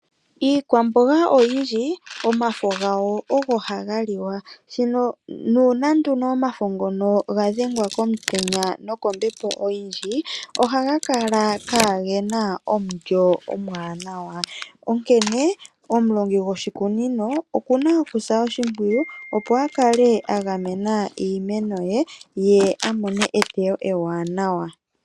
Iikwamboga oyindji omafo gayo ogo gaha liwa nuuna nduno omafo ngono ga dhengwa komutenya no kombepo oyindji ohaga kala kagena omulyo omuwanawa, onkene omulongi gwoshikunino okuna okusa oshimpwiyu opo a kale a gamena iimeno ye ,ye a mone eteyo ewanawa.